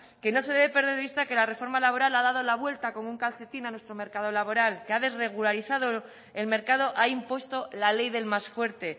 que no se debe perder de vista que la reforma laboral ha dado la vuelta como un calcetín a nuestro mercado laboral que ha desregularizado el mercado ha impuesto la ley del más fuerte